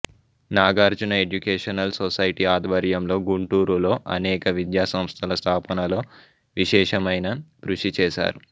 Nagarjuna educational society ఆధ్వర్యం లో గుంటూరులో అనేక విద్యాసంస్థల స్థాపనలో విశేషమైన కృషి చేసారు